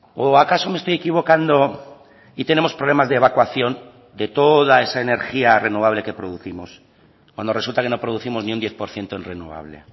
o acaso me estoy equivocando y tenemos problemas de evacuación de toda esa energía renovable que producimos cuando resulta que no producimos ni un diez por ciento en renovable